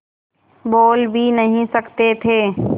बोल भी नहीं सकते थे